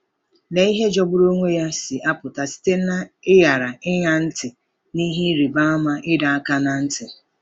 Lee ihe jọgburu onwe ya si apụta site n'ịghara ịṅa ntị n'ihe ịrịba ama ịdọ aka ná ntị!